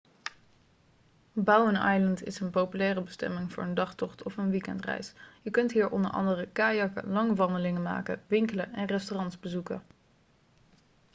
bowen island is een populaire bestemming voor een dagtocht of een weekendreis je kunt hier onder andere kajakken lange wandelingen maken winkelen en restaurants bezoeken